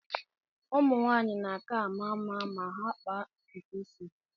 Ụmụ nwaanyị na-aka ama mma ma ha kpaa ntutu isi ha.